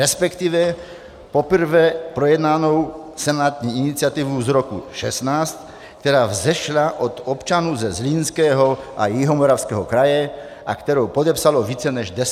Respektive poprvé projednanou senátní iniciativu z roku 2016, která vzešla od občanů ze Zlínského a Jihomoravského kraje a kterou podepsalo více než 10 tisíc lidí.